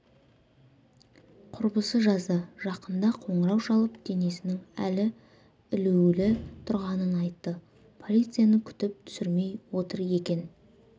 құрбысы жазды жақында қоңырау шалып денесінің әлі ілулі тұрғанын айтты полицияны күтіп түсірмей отыр екен